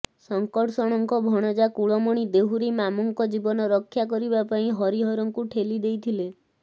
ଶଙ୍କର୍ଷଣଙ୍କ ଭଣଜା କୁଳମଣି ଦେହୁରୀ ମାମୁଙ୍କ ଜୀବନ ରକ୍ଷା କରିବା ପାଇଁ ହରିହରଙ୍କୁ ଠେଲି ଦେଇଥିଲେ